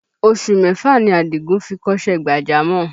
Oṣù mẹ́fà ni Àdìgún fi kọ́ṣẹ́ gbàjámọ̀